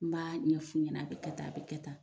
N' b'a ɲɛf'u ɲɛna a be kɛ tan a be kɛ tan